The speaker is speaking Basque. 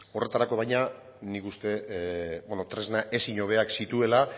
horretarako baina nik uste dut tresna ezin hobeak zituela